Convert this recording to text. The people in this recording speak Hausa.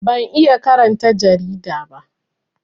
Ban iya karanta jarida ba